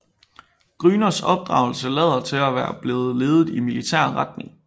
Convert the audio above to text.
Grüners opdragelse lader til at være blevet ledet i militær retning